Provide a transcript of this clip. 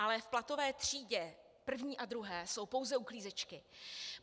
Ale v platové třídě první a druhé jsou pouze uklízečky.